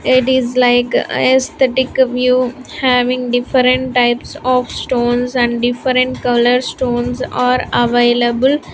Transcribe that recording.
It is like aesthetic view having different types of stones and different color stones are available.